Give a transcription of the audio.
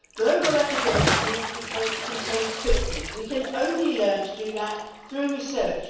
Global epidemics need to be contained quickly. We can only learn to do that through research.